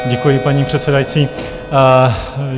Děkuji, paní předsedající.